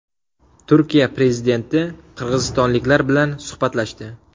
Turkiya prezidenti qirg‘izistonliklar bilan suhbatlashdi .